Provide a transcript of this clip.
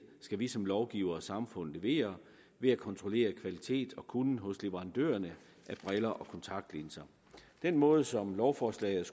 skal vi som lovgivere og samfund levere ved at kontrollere kvalitet og kunnen hos leverandørerne af briller og kontaktlinser den måde som lovforslaget